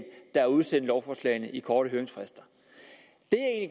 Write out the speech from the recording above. der har udsendt lovforslagene med korte høringsfrister det